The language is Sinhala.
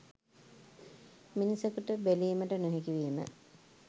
මිනිසකුට බැලීමට නොහැකි වීම